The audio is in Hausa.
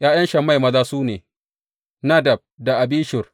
’Ya’yan Shammai maza su ne, Nadab da Abishur.